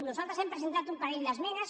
nosaltres hem presentat un parell d’esmenes